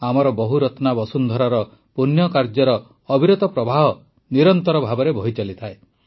ଆମର ବହୁରତ୍ନା ବସୁନ୍ଧରାର ପୂଣ୍ୟକାର୍ଯ୍ୟର ଅବିରତ ପ୍ରବାହ ନିରନ୍ତର ଭାବେ ବହିଚାଲିଥାଏ